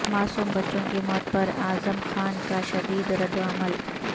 معصوم بچوں کی موت پر اعظم خان کا شدید رد عمل